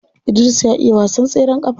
Idris ya iya wasan tseren kafa.